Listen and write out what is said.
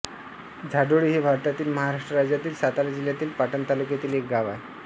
झाडोळी हे भारतातील महाराष्ट्र राज्यातील सातारा जिल्ह्यातील पाटण तालुक्यातील एक गाव आहे